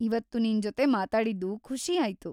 ಇವತ್ತು ನಿಂಜೊತೆ ಮಾತಾಡಿದ್ದು ಖುಷಿ ಆಯ್ತು.